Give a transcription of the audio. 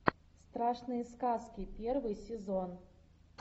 страшные сказки первый сезон